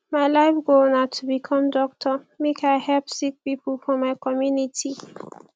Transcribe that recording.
my life goal na to become doctor make i help sick pipo for my community